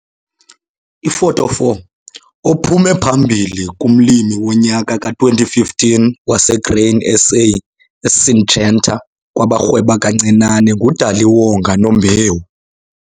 Ifoto 4 - Ophume phambili kuMlimi woNyaka ka-2015 waseGrain SA eSyngenta kwabaRhweba kaNcinane, nguDaliwonga Nombewu.